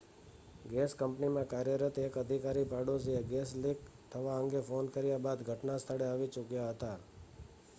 gas કંપનીમાં કાર્યરત એક અધિકારી પાડોશીએ ગેસ લીક થવા અંગે ફોન કર્યા બાદ ઘટના સ્થળે આવી ચૂક્યા હતા